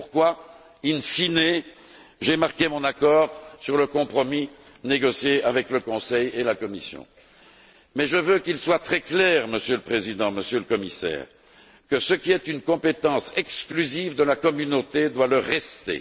C'est pourquoi, in fine j'ai marqué mon accord sur le compromis négocié avec le Conseil et la Commission, mais je veux qu'il soit très clair, Monsieur le Président, Monsieur le Commissaire, que ce qui est une compétence exclusive de la Communauté doit le rester.